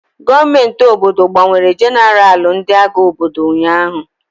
Gọọmenti obodo gbanwere jenaralụ ndị agha obodo ụnyaahụ.